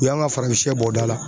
U y'an ka farafinsɛ bɔ da la.